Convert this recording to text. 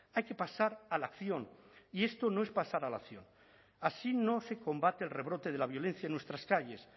hay que pasar a la acción y esto no es pasar a la acción así no se combate el rebrote de la violencia en nuestras calles